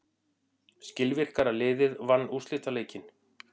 Skilvirkara liðið vann úrslitaleikinn.